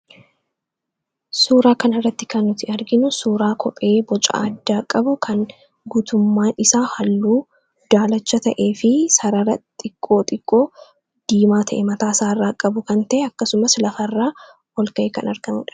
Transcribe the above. Suuraa kan irratti kan nuti arginu suuraa kophee boca addaa qabu kan guutummaan isaa halluu daalacha ta'e fi sarara xiqqoo xiqqoo diimaa ta'e mataa isaa irraa qabu kan ta'e akkasumas lafa irraa ol ka'e kan argamudha.